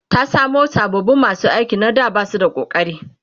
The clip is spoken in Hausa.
ta samu sababin masu aiki na da Basu da ƙokari